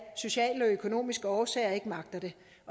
sociale og økonomiske årsager ikke magter det